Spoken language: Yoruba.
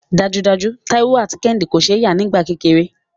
Dájúdájú, Táíwò àti Kẹ́hìndé kò ṣe é yà nígbà kékeré